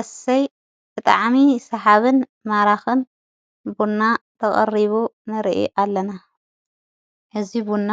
አሰይ ብጣዓሚ ሰሓብን ማራኽን ቡና ተቐሪቡ ነርኢ ኣለና ሕዚይቡና